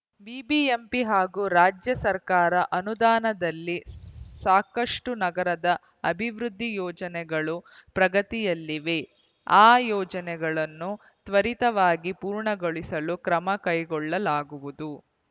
BBMP ಹಾಗೂ ರಾಜ್ಯ ಸರ್ಕಾರ ಅನುದಾನದಲ್ಲಿ ಸಾಕಷ್ಟುನಗರದ ಅಭಿವೃದ್ಧಿ ಯೋಜನೆಗಳು ಪ್ರಗತಿಯಲ್ಲಿವೆ ಆ ಯೋಜನೆಗಳನ್ನು ತ್ವರಿತವಾಗಿ ಪೂರ್ಣಗೊಳಿಸಲು ಕ್ರಮ ಕೈಗೊಳ್ಳಲಾಗುವುದು